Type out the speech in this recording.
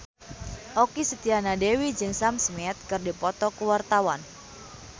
Okky Setiana Dewi jeung Sam Smith keur dipoto ku wartawan